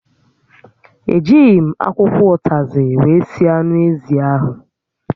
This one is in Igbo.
E jighi m akwụkwọ ụtazị wee sie anụ ézì áhụ̀